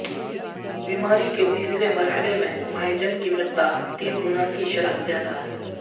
بیماری کے تیسرے مرحلے میں مائجن کی مقدار تین گنا کی شرح زیادہ ہے